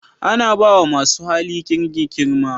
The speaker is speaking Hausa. Ana ba wa masu hali kirki girma